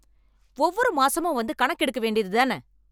ஒவ்வொரு மாசமும் வந்து கணக்கு எடுக்க வேண்டியதுதான